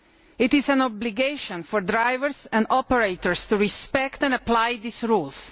It is an obligation for drivers and operators to respect and apply these rules.